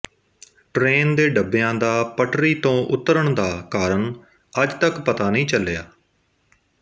train ਦੇ ਡੱਬਿਆਂ ਦਾ ਪਟੱਰੀ ਤੋਂ ਉਤਰਣ ਦਾ ਕਾਰਨ ਅੱਜ ਤੱਕ ਪਤਾ ਨਹੀਂ ਚਲਿਆ